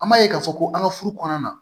An b'a ye k'a fɔ ko an ka furu kɔnɔna na